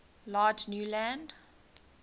large new land